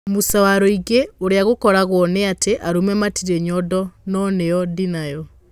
Musa Warũingĩ. ũrĩa gũkoragwo nĩ atĩ arũme matirĩ nyondo no niĩ ndĩnayo.